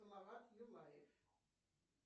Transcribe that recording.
салават юлаев